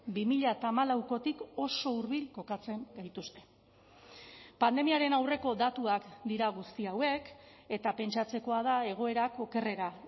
bi mila hamalaukotik oso hurbil kokatzen gaituzte pandemiaren aurreko datuak dira guzti hauek eta pentsatzekoa da egoerak okerrera